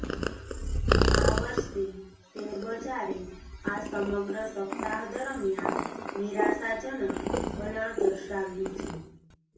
આ વર્ષે શેરબજારે આ સમગ્ર સપ્તાહ દરમિયાન નિરાશાજનક વલણ દર્શાવ્યું છે